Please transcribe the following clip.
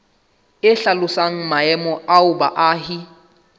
e hlalosang maemo ao baahi